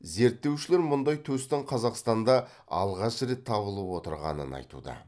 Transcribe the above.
зерттеушілер мұндай төстің қазақстанда алғаш рет табылып отырғанын айтуда